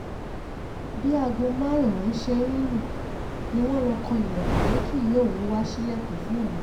bí aago márùn-ún ṣe ń lù ni wọ́n lọ kan ilẹ̀kùn pé kí ìyá òun wáá ṣílẹ̀kùn fún òun